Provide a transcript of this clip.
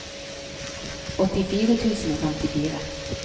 åttifire tusen og femtifire